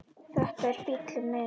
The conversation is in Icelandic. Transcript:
Þetta er bíllinn minn